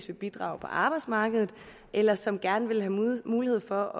vil bidrage på arbejdsmarkedet eller som gerne vil have mulighed for